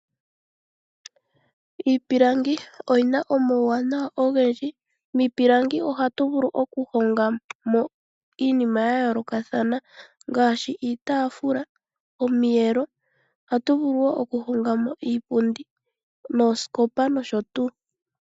Iipilangi oyi na omauwanawa ogendji. Miipilangi ohatu vulu okuhongamo iinima ya yoolokathana ngaashi iitaafula, omiyelo, iipundi nosho woo oosikopa.